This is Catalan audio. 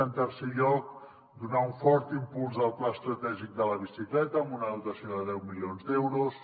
en tercer lloc donar un fort impuls al pla estratègic de la bicicleta amb una dotació de deu milions d’euros